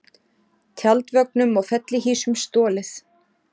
Tjaldvögnum og fellihýsum stolið